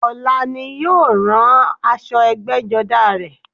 Ọ̀la ni ó rán aṣọ ẹgbẹ́jọdá rẹ